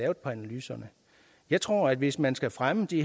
af analyserne jeg tror at hvis man skal fremme de